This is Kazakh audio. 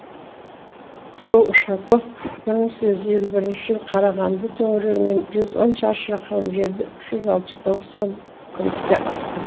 сол ушаков бір мың сегіз жүз елу бірінші жылы қарағанды төңірегінен жүз он шаршы шақырым жерді үш жүз алпыс тоғыз сом күміске атылған